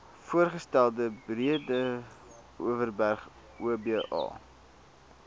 voorgestelde breedeoverberg oba